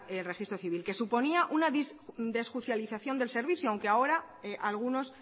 el registro civil que suponía una desjuicialización del servicio aunque ahora algunos